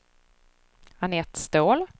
Anette Ståhl